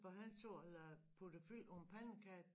For han sad og puttede fyld på en pandekage